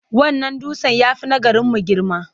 Wannan dutsen ya fi na garimu girma.